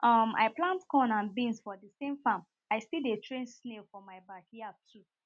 um i plant corn and beans for thesame farm i still dey train snail for my backyard too